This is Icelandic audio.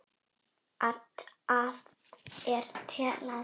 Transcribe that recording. ar til að borða hana.